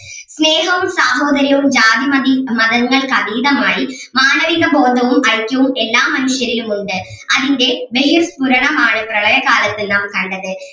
സ്നേഹവും സാഹോദര്യവും ജാതി മതി മതങ്ങൾക്ക് അതീതമായി മാനവിക ബോധവും ഐക്യവും എല്ലാ മനുഷ്യരിലും ഉണ്ട് അതിൻ്റെ പ്രളയ കാലത്ത് നാം കണ്ടത്